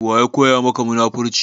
Waya koya maka munafurci?